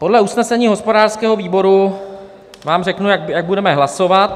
Podle usnesení hospodářského výboru vám řeknu, jak budeme hlasovat.